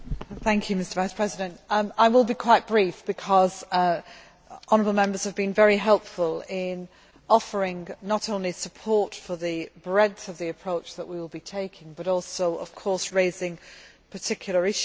Mr President, I will be quite brief because honourable Members have been very helpful in offering not only support for the breadth of the approach that we will be taking but also raising particular issues.